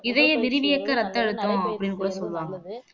இதய விரிவியக்க இரத்த அழுத்தம் அப்படின்னு கூட சொல்லுவாங்க